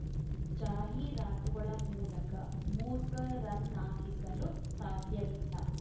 ಜಾಹೀರಾತುಗಳ ಮೂಲಕ ಮೂರ್ಖರನ್ನಾಗಿಸಲು ಸಾಧ್ಯವಿಲ್ಲ